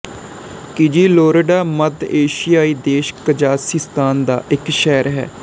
Kyzylorda ਮੱਧ ਏਸ਼ੀਆਈ ਦੇਸ਼ ਕਜ਼ਾਖ਼ਿਸਤਾਨ ਦਾ ਇੱਕ ਸ਼ਹਿਰ ਹੈ